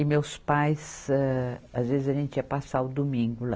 E meus pais, âh, às vezes, a gente ia passar o domingo lá.